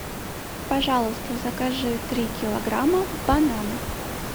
пожалуйста закажи три килограмма бананов